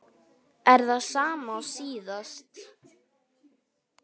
Er það sama og síðast?